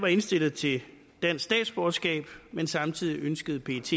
var indstillet til dansk statsborgerskab men samtidig ønskede pet